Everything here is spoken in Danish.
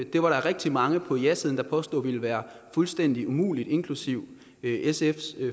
det var der rigtig mange på jasiden der påstod ville være fuldstændig umuligt inklusive sfs